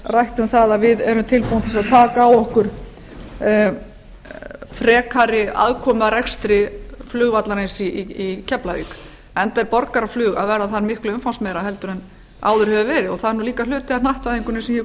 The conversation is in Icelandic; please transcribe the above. rætt um það að við erum tilbúin til þess að taka á okkur frekari aðkomu að rekstri flugvallarins í keflavík enda er borgaraflug að verða þar miklu umfangsmeira en áður hefur verið og það er líka hluti af hnattvæðingunni sem ég